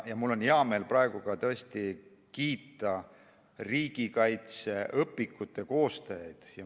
Mul on hea meel praegu kiita riigikaitseõpiku koostajaid.